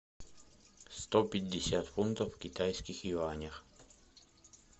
сто пятьдесят фунтов в китайских юанях